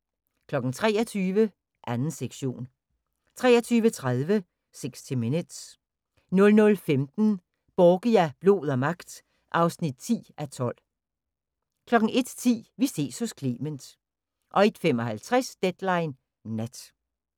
23:00: 2. sektion 23:30: 60 minutes 00:15: Borgia – blod og magt (10:12) 01:10: Vi ses hos Clement 01:55: Deadline Nat